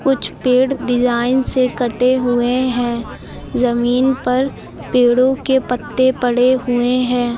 कुछ पेड़ डिजाइन से कटे हुए हैं जमीन पर पेड़ो के पत्ते पड़े हुए हैं।